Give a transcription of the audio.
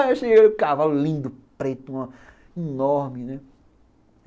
Achei o cavalo lindo, preto, enorme, né?